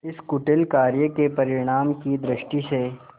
इस कुटिल कार्य के परिणाम की दृष्टि से